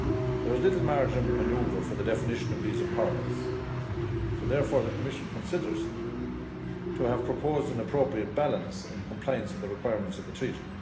There is little margin of manoeuvre for the definition of these empowerments so therefore the Commission considers to have proposed an appropriate balance in compliance with the requirements of the Treaty.